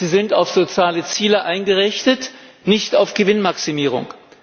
Sie sind auf soziale Ziele eingerichtet, nicht auf Gewinnmaximierung.